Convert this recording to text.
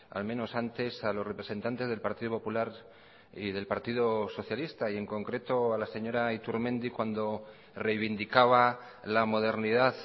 al menos antes a los representantes del partido popular y del partido socialista y en concreto a la señora iturmendi cuando reivindicaba la modernidad